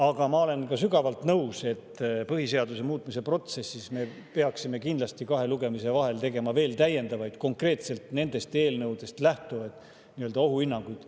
Aga ma olen ka sügavalt nõus, et põhiseaduse muutmise protsessis me peaksime kahe lugemise vahel tegema kindlasti veel täiendavaid konkreetselt nendest eelnõudest lähtuvaid ohuhinnanguid.